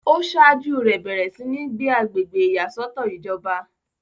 ó sáájú rẹ̀ bẹ̀rẹ̀ sí ní gbé agbègbè ìyàsọ́tọ̀ ìjọba